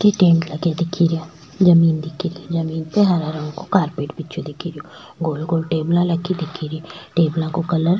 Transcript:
tent लगा दिखे रीया जमीन दिखे री जमीन पे हरा रंग को कारपेट बिछया दिखे रा गोल गोल टेबला लगी दिखे री टेबला का कलर --